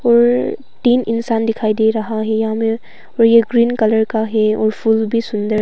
और तीन इंसान दिखाई दे रहा है यहां में और यह ग्रीन कलर का है और फूल भी सुंदर--